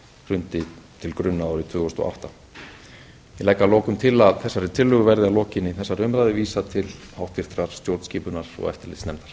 hrundi til grunna árið tvö þúsund og átta ég legg að lokum til að þessari tillögu verði að lokinni þessari umræðu vísað til háttvirtrar stjórnskipunar og eftirlitsnefndar